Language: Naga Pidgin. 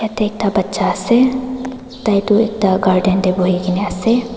yate ekta bacha ase tai toh ekta garden te buhi kena ase.